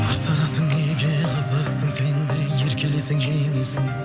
қырсығасың неге қызықсың сенде еркелесең жеңесің